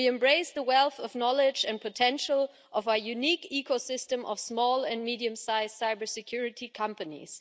We embrace the wealth of knowledge and potential of our unique ecosystem of small and medium-sized cybersecurity companies.